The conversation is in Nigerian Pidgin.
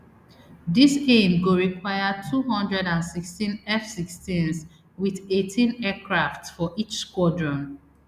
dis aim go require two hundred and sixteen fsixteens wit eighteen aircraft for each squadron